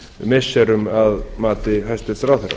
missirum að mati hæstvirtur ráðherra